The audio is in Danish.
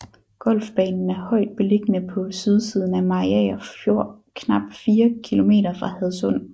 Golfbanen er højt beliggende på sydsiden af Mariager Fjord knap 4 km fra Hadsund